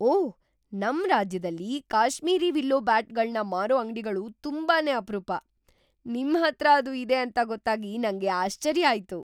ಓಹ್! ನಮ್‌ ರಾಜ್ಯದಲ್ಲಿ ಕಾಶ್ಮೀರಿ ವಿಲ್ಲೋ ಬ್ಯಾಟ್‌ಗಳ್ನ ಮಾರೋ ಅಂಗ್ಡಿಗಳು ತುಂಬಾನೇ ಅಪ್ರೂಪ. ನಿಮ್ಹತ್ರ ಅದು ಇದೆ ಅಂತ ಗೊತ್ತಾಗಿ ನಂಗೆ ಆಶ್ಚರ್ಯ ಆಯ್ತು.